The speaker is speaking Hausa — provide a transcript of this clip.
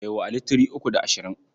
Bai wa Ali three uku da ashirin.